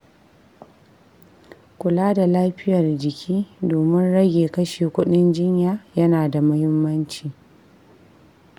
Kula da lafiyar jiki domin rage kashe kuɗin jinya yana da mahimmanci.